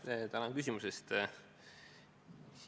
Jah, tänan küsimuse eest!